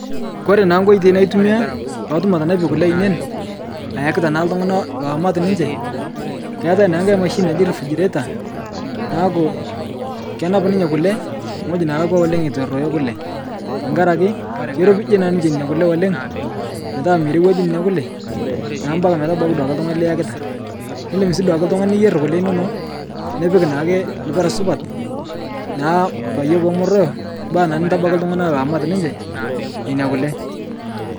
Kore naa nkoitoi natumiyaa paatum atanapie kule ainen ayakita ltung'ana loomat ninche, keatae naa nkae mashini naji refrigerator naaku kenap ninye kule ng'oji nelakwa oleng etu eroyo kule, takarake keiropije naa ninche nena kule oleng' petaa merewaju nena kule naa mpaka duake metabaki ltung'ana liyakita. Indim sii duake ltung'ani nirewaje nena kule inono, nipik naake lpira supat naa paye pemeroyo mpaka naa nitabaki ltung'ana loomat ninche neina kule.